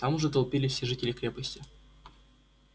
там уже толпились все жители крепости